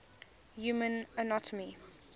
human anatomy